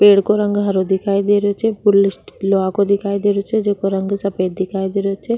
पेड़ को रंग हरो दिखाई दे रेहो छे लोहा को दिखाई दे रो छे जेको रंग सफेद दिखाई दे रो छे।